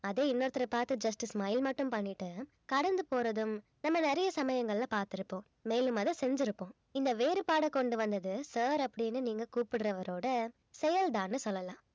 அதே இன்னொருத்தரை பார்த்து just smile மட்டும் பண்ணிட்டு கடந்து போறதும் நம்ம நிறைய சமயங்கள்ல பார்த்திருப்போம் மேலும் அத செஞ்சிருப்போம் இந்த வேறுபாட கொண்டு வந்தது sir அப்படின்னு நீங்க கூப்பிடறவரோட செயல்தான்னு சொல்லலாம்